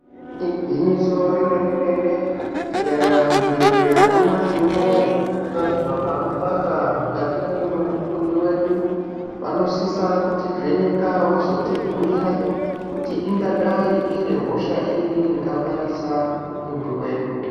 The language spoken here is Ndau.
Igwinyiso re mene mene tika enda muzvi bhedhleya nyamashi unowu tanzwa pano panda mukati mwemu tumbi wedu vanosisa kuti vheneka wozoti bhuyira kuti inkadai iri hosha iri inga pandisa mitumbi yedu.